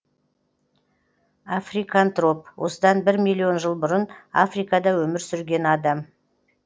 африкантроп осыдан бір миллион жыл бұрын африкада өмір сүрген адам